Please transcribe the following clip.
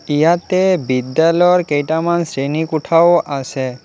ইয়াতে বিদ্যালৰ কেইটামান শ্ৰেণীকোঠাও আছে।